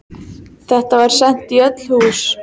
Þetta var sent í öll hús!